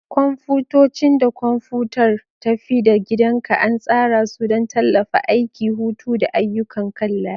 Kwamfutocin da kwamfutar tafi-da-gidanka an tsara su don tallafawa aiki, hutu, da ayyukan kan layi.